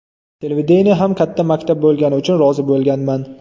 Televideniye ham katta maktab bo‘lgani uchun rozi bo‘lganman.